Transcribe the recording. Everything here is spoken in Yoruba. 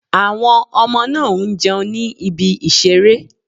Àwọn ọmọ náà ń jẹun ní ibi ìseré